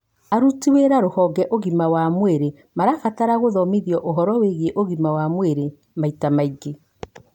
Aruti wĩra rũhonge ũgima mwega wa mwĩrĩ marabatara gũthomithio ũhoro wĩgiĩ ũgima wa mwĩrĩ maita maingĩ